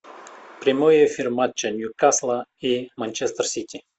прямой эфир матча ньюкасла и манчестер сити